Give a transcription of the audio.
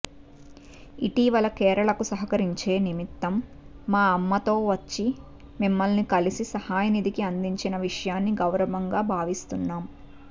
ఇటీవల కేరళకు సహకరించే నిమిత్తం మా అమ్మతో వచ్చి మిమ్మల్ని కలిసి సహాయ నిధిని అందించిన విషయాన్ని గౌరవంగా భావిస్తున్నాం